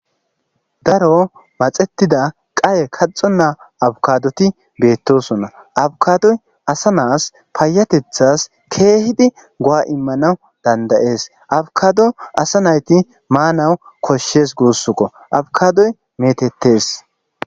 Daro maxetida kaxona qaye a kadoti betossona abikadoy asanas payatethas kehidi go'a imanas dandayes abkado asa nayti manas koshees gussiko abkadoy mettetes